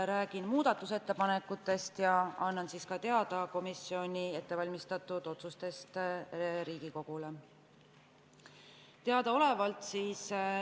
Räägin muudatusettepanekutest ja annan siis ka teada komisjoni otsustest.